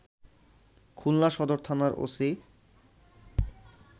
খুলনা সদর থানার ওসি